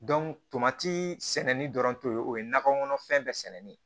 tomati sɛni dɔrɔn te o ye nakɔ kɔnɔfɛn bɛɛ sɛnɛni ye